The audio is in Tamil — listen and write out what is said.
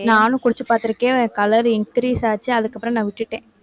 நானும் குடிச்சு பார்த்திருக்கேன் color increase ஆச்சு அதுக்கப்புறம் நான் விட்டுட்டேன்